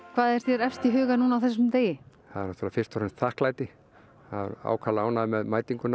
hvað er þér efst í huga núna á þessum degi það er fyrst og fremst þakklæti ákaflega ánægður með mætinguna